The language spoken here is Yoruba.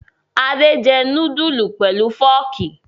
Adé jẹ núdúlù pẹ̀lú fọ́ọ́kì?